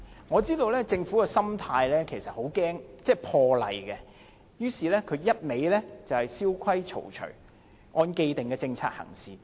我知道政府的心態是很害怕破例，於是只管蕭規曹隨，按既定政策行事。